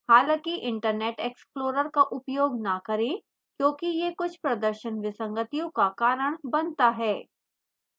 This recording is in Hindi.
हालांकि internet explorer का उपयोग न करें क्योंकि यह कुछ प्रदर्शन विसंगतियों का कारण बनता है